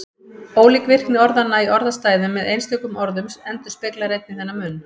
Ólík virkni orðanna í orðastæðum með einstökum orðum endurspeglar einnig þennan mun.